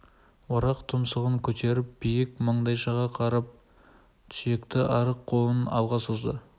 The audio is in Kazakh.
орақ тұмсығын көтеріп биік маңдайшаға қарап сүйекті арық қолын алға созды